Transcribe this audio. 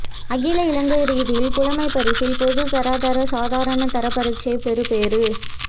அகில இலங்கை ரீதியில் புலமைப்பரிசில் பொதுதராதர சாதாரண தர பரீட்சை பெறுபேறு